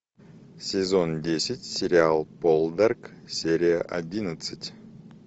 сезон десять сериал полдарк серия одиннадцать